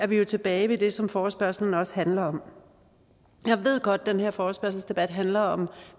vi tilbage ved det som forespørgslen også handler om jeg ved godt at den her forespørgselsdebat handler om